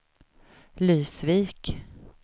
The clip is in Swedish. Lysvik